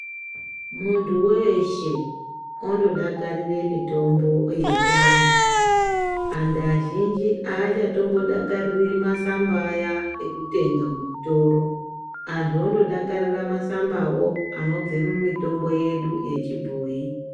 Muntu weshe ondodakarire mitombo yechiantu. Antu azhinji haachatombodakariri masamba aya ekutenga muchitoro. Antu ondodakarira masambawo anobve mumitombo yedu yechibhoyi.